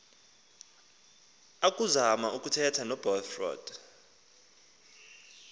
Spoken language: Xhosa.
akuzama ukuthetha nobradford